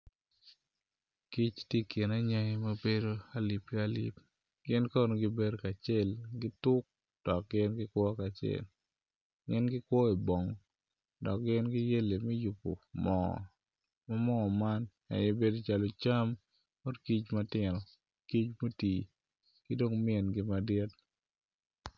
Kic tye i kin angi ma bedo alip ki alip gin kono gibedo kacel gituk dok gin gikwo kacel gin gikwo i bongo dok giyelle me yubo moo ma moo man aye bedo calo cam bot kic matino ki mingi madit.